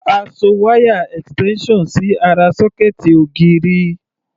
A so wáyà extension sí ará sọ́kẹ̀ẹ̀tì ògiri.